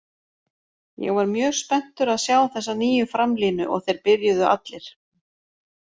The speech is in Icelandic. Ég var mjög spenntur að sjá þessa nýju framlínu og þeir byrjuðu allir.